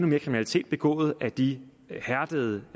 mere kriminalitet begået af de hærdede